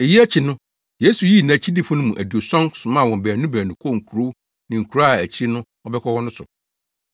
Eyi akyi no, Yesu yii nʼakyidifo no mu aduɔson somaa wɔn baanu baanu kɔɔ nkurow ne nkuraa a akyiri no ɔbɛkɔ hɔ no so.